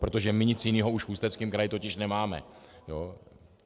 Protože my nic jiného už v Ústeckém kraji totiž nemáme!